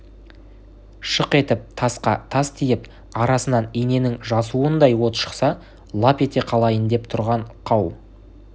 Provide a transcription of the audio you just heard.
шық етіп тасқа тас тиіп арасынан иненің жасуындай от шықса лап ете қалайын деп тұрған қау